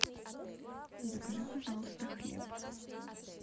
закажи пожалуйста хлеб